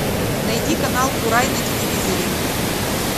найди канал курай на телевизоре